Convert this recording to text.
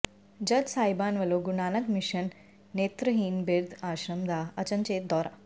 ਜੱਜ ਸਾਹਿਬਾਨ ਵੱਲੋਂ ਗੁਰੂ ਨਾਨਕ ਮਿਸ਼ਨ ਨੇਤਰਹੀਣ ਬਿਰਧ ਆਸ਼ਰਮ ਦਾ ਅਚਨਚੇਤ ਦੌਰਾ